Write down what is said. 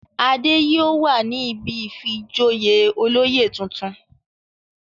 Adé yóò wà ní ibi ìfijoyè olóyè tuntun.